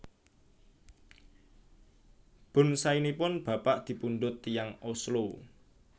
Bonsainipun bapak dipundhut tiyang Oslo